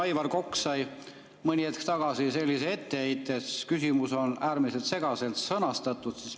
Aivar Kokk sai mõni hetk tagasi sellise etteheite, et küsimus oli äärmiselt segaselt sõnastatud.